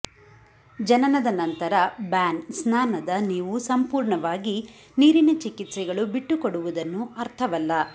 ಜನನದ ನಂತರ ಬ್ಯಾನ್ ಸ್ನಾನದ ನೀವು ಸಂಪೂರ್ಣವಾಗಿ ನೀರಿನ ಚಿಕಿತ್ಸೆಗಳು ಬಿಟ್ಟುಕೊಡುವುದನ್ನು ಅರ್ಥವಲ್ಲ